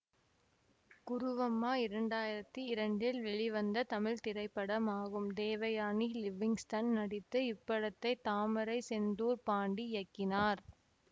குருவம்மா இரண்டாயிரத்தி இரண்டில் வெளிவந்த தமிழ் திரைப்படமாகும் தேவயானி லிவிங்க்ஸ்டன் நடித்த இப்படத்தை தாமரைசெந்தூர்பாண்டி இயக்கினார்